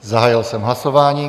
Zahájil jsem hlasování.